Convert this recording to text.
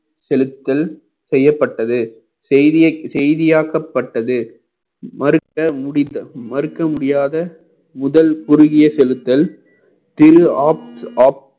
செலுத்தல் செய்யப்பட்டது செய்தியா~ செய்தியாக்கப்பட்டது மறுக்க முடிந்த மறுக்க முடியாத முதல் குறுகிய செலுத்தல் திரு apps off